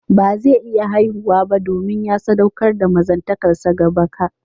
Ba zai iya haihuwa ba, domin ya saɗaukar da mazantakarsa ga baka